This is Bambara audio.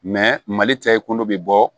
mali cɛ kolo bɛ bɔ